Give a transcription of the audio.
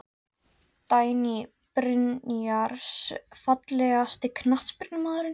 Dagný Brynjars Fallegasti knattspyrnumaðurinn?